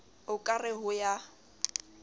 o ka re ho ya